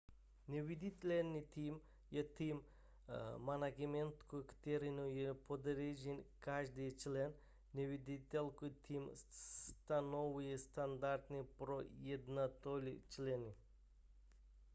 neviditelný tým je tým managementu kterému je podřízen každý člen neviditelný tým stanovuje standardy pro jednotlivé členy